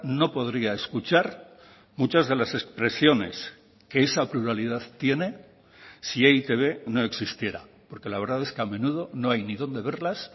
no podría escuchar muchas de las expresiones que esa pluralidad tiene si e i te be no existiera porque la verdad es que a menudo no hay ni donde verlas